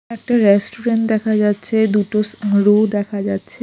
একটা রেস্টুরেন্ট দেখা যাচ্ছে দুটো স্কুলও দেখা যাচ্ছে।